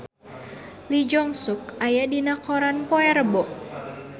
Lee Jeong Suk aya dina koran poe Rebo